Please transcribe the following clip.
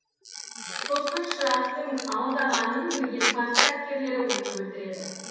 сосын шырақтың алдағанын білген парсы әскерлері оны өлтіреді